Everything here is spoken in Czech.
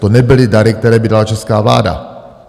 To nebyly dary, které by dala česká vláda.